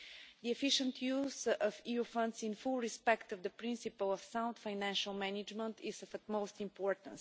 The efficient use of EU funds in full respect of the principle of sound financial management is of utmost importance.